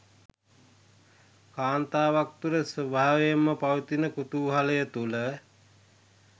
කාන්තාවක් තුළ ස්වභාවයෙන්ම පවතින කුතුහලය තුළ